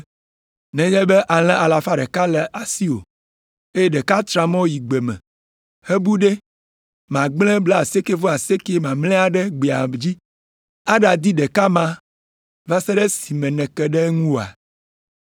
“Nenye be alẽ alafa ɖeka le asiwò, eye ɖeka tra mɔ yi gbe me hebu ɖe, màgblẽ blaasiekɛ-vɔ-asiekɛ mamlɛa ɖe gbea dzi aɖadi ɖeka ma va se ɖe esime nèke ɖe eŋu oa?